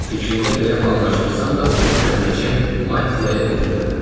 Fikrimdə belə planlaşdırsam da bunu köməkçim Mattiyaya bildirmədim.